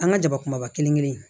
An ka jaba kumaba kelen kelen in